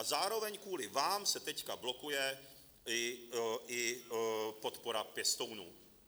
A zároveň kvůli vám se teď blokuje i podpora pěstounům.